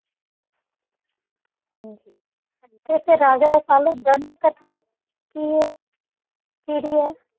ਹਾਂਜੀ ਤੇ ਫਿਰ ਰਾਜਾ ਰਸਾਲੂ ਗ੍ਰੰਥ ਕਥਾ ਕੀ ਇੱਕ ਪੀੜੀ ਹੈ?